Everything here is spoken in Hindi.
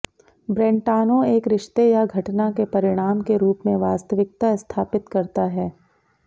ब्रेंटानो एक रिश्ते या घटना के परिणाम के रूप में वास्तविकता स्थापित करता है